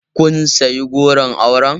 Kun sayi goron auren?